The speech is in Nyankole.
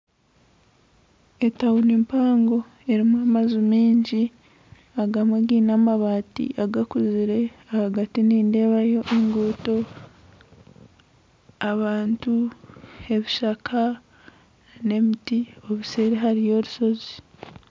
Etawuni mpango erumu amaju mingi agamwe giine amabati agakuzire ahagati nindebayo enguuto , abantu, ebishaka n'emiti obuseeri hariyo orusozi.